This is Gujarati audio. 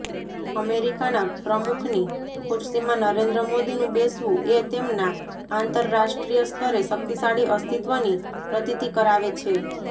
અમેરિકાના પ્રમુખની ખુરશીમાં નરેન્દ્ર મોદીનું બેસવું એ તેમના આંતરરાષ્ટ્રીય સ્તરે શક્તિશાળી અસ્તિત્વની પ્રતીતિ કરાવે છે